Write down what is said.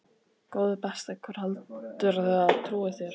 Góði besti, hver heldurðu að trúi þér?